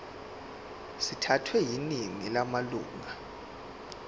sithathwe yiningi lamalunga